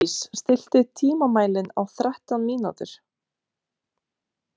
Hlédís, stilltu tímamælinn á þrettán mínútur.